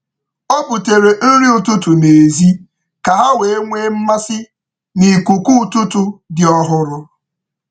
Ọ butere nri ụtụtụ n’èzí ka ha wee nwee mmasị n’ikuku ụtụtụ dị ọhụrụ.